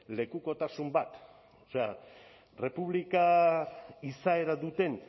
lekukotasun bat o sea errepublika izaera duten